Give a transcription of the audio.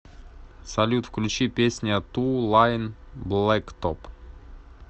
салют включи песня ту лайн блэктоп